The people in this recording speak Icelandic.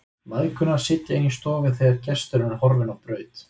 Mæðgurnar sitja inni í stofu þegar gesturinn er horfinn á braut.